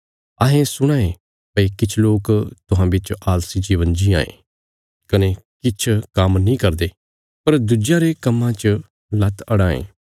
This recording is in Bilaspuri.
हुण अहांरे सुणने च औआं भई तुहां बिच किछ लोक आलसी जीवन जीआं ये सै खुद काम्म नीं करदे पर सै लगातार दुज्यां लोकां रे कम्मा च दखलंदाजी करां ये